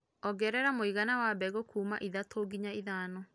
ongerera muigana wa mbegũ kuma ithatu nginya ithano